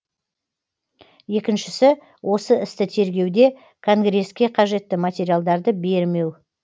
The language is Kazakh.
екіншісі осы істі тергеуде конгресске қажетті материалдарды бермеу